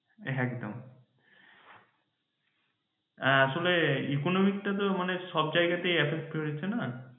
একদম হ্যাঁ আসলে economic টা তো আসলে সবজায়গাতেই affected হয়েছে না